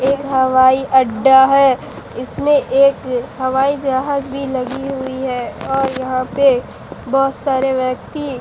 एक हवाई अड्डा है इसमें एक हवाई जहाज भी लगी हुई है और यहां पे बहोत सारे व्यक्ति--